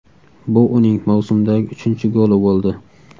Bu uning mavsumdagi uchinchi goli bo‘ldi.